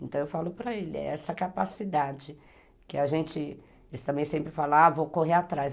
Então, eu falo para ele, é essa capacidade que a gente... Eles também sempre falavam, vou correr atrás.